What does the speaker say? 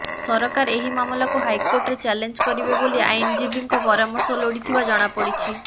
ସରକାର ଏହି ମାମଲାକୁ ହାଇକୋର୍ଟରେ ଚ୍ୟାଲେଞ୍ଜ କରିବେ ବୋଲି ଆଇନଜୀବୀଙ୍କ ପରାମର୍ଶ ଲୋଡ଼ିଥିବା ଜଣାପଡ଼ିଛି